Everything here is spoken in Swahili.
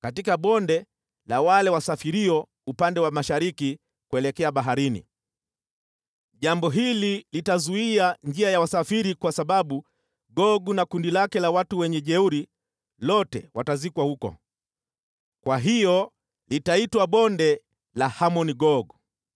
katika bonde la wale wasafirio upande wa mashariki kuelekea baharini. Jambo hili litazuia njia ya wasafiri kwa sababu Gogu na makundi yake yote ya wajeuri watazikwa huko. Kwa hiyo litaitwa Bonde la Hamon-Gogu.